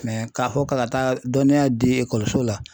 Mɛ k'a fɔ k'a bɛ taa dɔnniya di ekɔliso la